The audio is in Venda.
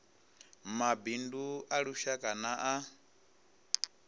mabindu a lushaka na a